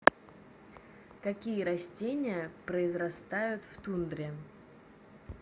какие растения произрастают в тундре